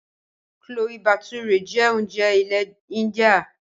Chloe bature jẹ́ oúnjẹ ilẹ̀ india.